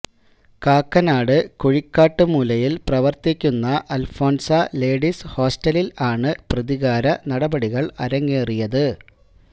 കാക്കനാട് കുഴിക്കാട്ട് മൂലയില് പ്രവര്ത്തിക്കുന്ന അല്ഫോന്സ ലേഡീസ് ഹോസ്ററലില് ആണ് പ്രതികാര നടപടികള് അരങ്ങേറിയത്